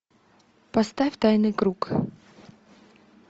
поставь тайный круг